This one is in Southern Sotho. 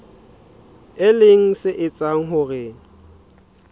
e leng se etsang hore